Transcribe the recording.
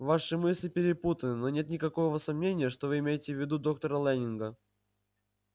ваши мысли перепутаны но нет никакого сомнения что вы имеете в виду доктора лэннинга